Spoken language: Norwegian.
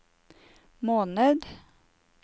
måned